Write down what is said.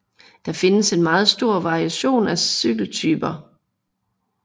Der findes en meget stor variation af cykeltyper